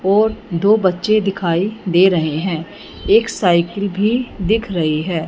और दो बच्चे दिखाई दे रहे हैं एक साइकिल भी दिख रही है।